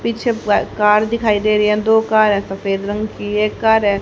पीछे वह कार दिखाई दे रही है दो कार है सफेद रंग की एक कार है --